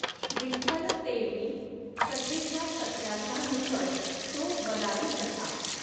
विठ्ठल तेंवि कथेच्या सत्राच्या निकट तो बराडि कसा